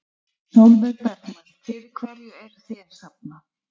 Sólveig Bergmann: Fyrir hverju eruð þið að safna?